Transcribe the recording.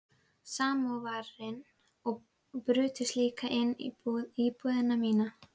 Samóvarinn og brutust líka inn í íbúðina mína.